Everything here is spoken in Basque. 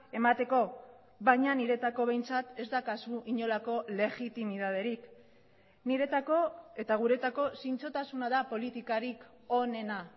emateko baina niretzako behintzat ez daukazu inolako legitimitaterik niretzako eta guretzako zintzotasuna da politikarik onena